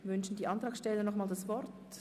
Wünschen die Antragsteller nochmals das Wort?